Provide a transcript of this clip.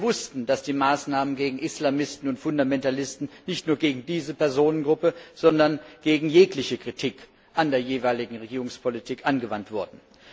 Wir wussten, dass die Maßnahmen gegen Islamisten und Fundamentalisten nicht nur gegen diese Personengruppe, sondern gegen jegliche Kritik an der jeweiligen Regierungspolitik ergriffen wurden.